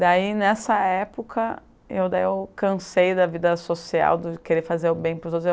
Daí, nessa época, eu daí eu cansei da vida social, do querer fazer o bem para os outros.